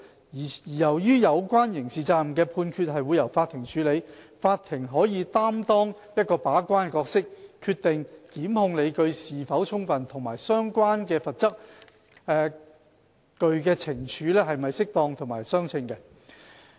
由於有關刑事責任的判決會由法庭處理，法庭可擔當把關角色，決定檢控理據是否充分及相關罰則懲處是否適當和相稱。